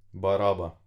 Baraba.